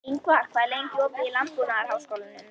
Ingvar, hvað er lengi opið í Landbúnaðarháskólanum?